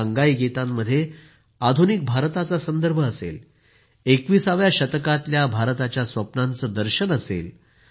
या अंगाईगीतांमध्ये आधुनिक भारताचा संदर्भ असेल २१ व्या शतकातल्या भारताच्या स्वप्नांचं दर्शन घडेल